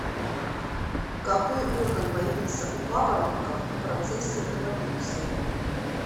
какой орган появился у папоротников в процессе эволюции